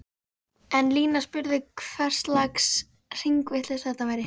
En Lína spurði hverslags hringavitleysa þetta væri?!